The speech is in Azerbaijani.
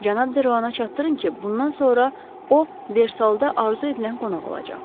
Cənab Deroana çatdırın ki, bundan sonra o versalda arzu edilən qonaq olacaq.